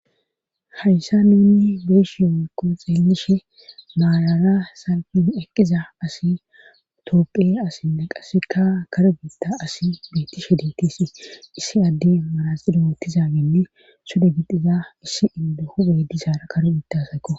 Hayssa nunni beeshi yowokko xeelishe maarara salpen eqqiza asi tooqe asinne qasika karo giitta asi beettishe dietisi issi adde marazxilo otizaginne sude gixiza issi inde hube disaara karo biitasayko.